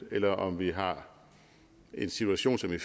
eller om vi har en situation som i